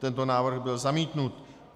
Tento návrh byl zamítnut.